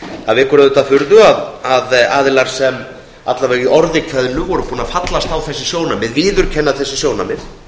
það vekur auðvitað furðu að aðilar sem alla vega í orði kveðnu höfðu fallist á þessi sjónarmið viðurkenna þessi sjónarmið